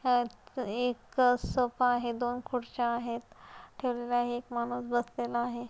अह एक सोफा आहे दोन खुर्च्या आहेत ठेवलेल्या एक माणूस बसलेला आहे.